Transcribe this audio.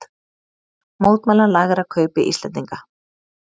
Mótmæla lægra kaupi Íslendinga